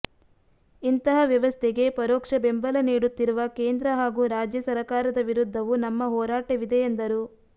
ಇಂತಹ ವ್ಯವಸ್ಥೆಗೆ ಪರೋಕ್ಷ ಬೆಂಬಲ ನೀಡುತ್ತಿರುವ ಕೇಂದ್ರ ಹಾಗೂ ರಾಜ್ಯ ಸರಕಾರದ ವಿರುದ್ಧವೂ ನಮ್ಮ ಹೋರಾಟವಿದೆ ಎಂದರು